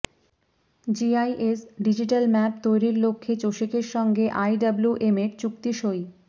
GIS digital map তৈরির লক্ষ্যে চসিকের সঙ্গে আইডব্লিউএমের চুক্তি সই